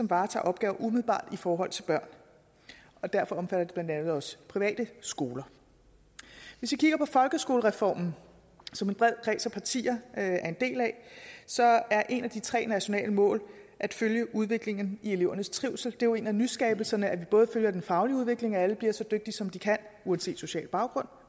varetager opgaver i forhold til børn og derfor omfatter det blandt andet også private skoler hvis vi kigger på folkeskolereformen som en bred kreds af partier er en del af så er et af de tre nationale mål at følge udviklingen i elevernes trivsel jo en af nyskabelserne at vi både følger den faglige udvikling så alle bliver så dygtige som de kan uanset social baggrund